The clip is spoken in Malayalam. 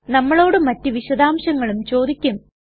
നമ്മളോട് മറ്റ് വിശദാംശങ്ങളും ചോദിക്കും